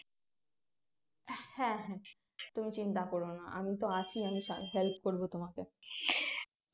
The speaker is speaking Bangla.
হ্যাঁ হ্যাঁ তুমি চিন্তা করো না আমি তো আছি আমি করবো তোমাকে